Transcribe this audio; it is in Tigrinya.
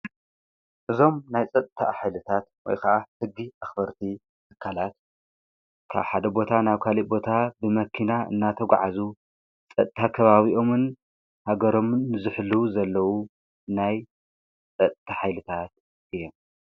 እዞም ናይ ጸተ ኃይልታት ወይ ኸዓ ሕጊ ኣኽበርቲ ተካላት ካ ሓደ ቦታ ናብ ካልቦታ ብመኪና እናተ ጐዓዙ ጸታ ከባቢኦምን ሃገሮምን ዝኅሉ ዘለዉ ናይ ጸተ ኃይልታት እዩ።